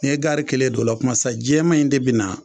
Ne ye gaari kelen don o la kumana sa jɛman in de bɛ na